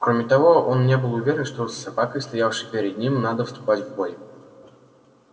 кроме того он не был уверен что с собакой стоявшей перед ним надо вступать в бой